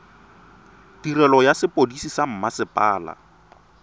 tirelo ya sepodisi sa mmasepala